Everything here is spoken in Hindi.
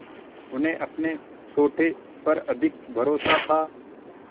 उन्हें अपने सोटे पर अधिक भरोसा था